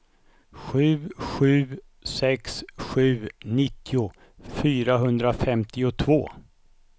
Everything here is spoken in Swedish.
sju sju sex sju nittio fyrahundrafemtiotvå